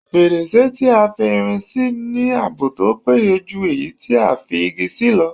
Fèrèsé tí a fi irin se ní ààbò tó péye jù èyí tí a fi Igi ṣe lọ